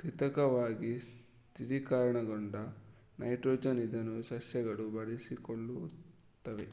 ಕೃತಕವಾಗಿ ಸ್ಥಿರೀಕರಣಗೊಂಡ ನೈಟ್ರೋಜನ್ ಇದನ್ನು ಸಸ್ಯಗಳು ಬಳಸಿಕೊಳ್ಳುತ್ತವೆ